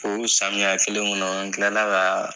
O samiya kelen kɔnɔ n tilala ka